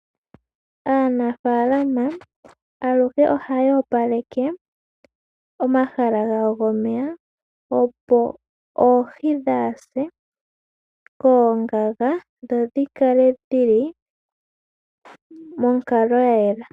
Aanafalama aluhe ohayo opaleke omahala gawo gomeya, opo oohi dhaase koongaga dho dhi kale monkalo ya yela